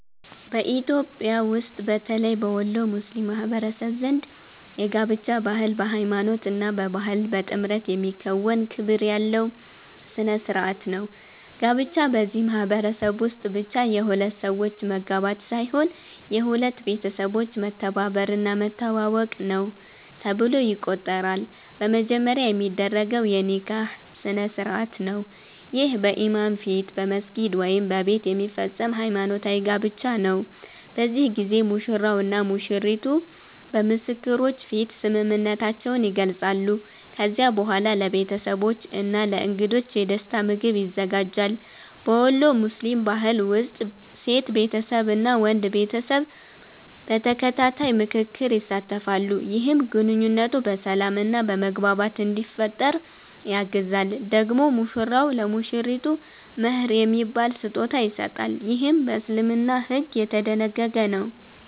በኢትዮጵያ ውስጥ በተለይ በወሎ ሙስሊም ማህበረሰብ ዘንድ የጋብቻ ባህል በሃይማኖት እና በባህል በጥምረት የሚከናወን ክብር ያለው ሥነ ሥርዓት ነው። ጋብቻ በዚህ ማህበረሰብ ውስጥ ብቻ የሁለት ሰዎች መጋባት ሳይሆን የሁለት ቤተሰቦች መተባበር እና መተዋወቅ ነው ተብሎ ይቆጠራል። በመጀመሪያ የሚደረገው የ“ኒካህ” ስነ-ሥርዓት ነው። ይህ በኢማም ፊት በመስጊድ ወይም በቤት የሚፈጸም ሃይማኖታዊ ጋብቻ ነው። በዚህ ጊዜ ሙሽራው እና ሙሽሪቱ በምስክሮች ፊት ስምምነታቸውን ይገልጻሉ። ከዚያ በኋላ ለቤተሰቦች እና ለእንግዶች የደስታ ምግብ ይዘጋጃል። በወሎ ሙስሊም ባህል ውስጥ ሴት ቤተሰብ እና ወንድ ቤተሰብ በተከታታይ ምክክር ይሳተፋሉ፣ ይህም ግንኙነቱ በሰላም እና በመግባባት እንዲፈጠር ያግዛል። ደግሞ ሙሽራው ለሙሽሪቱ “መህር” የሚባል ስጦታ ይሰጣል፣ ይህም በእስልምና ሕግ የተደነገገ ነው።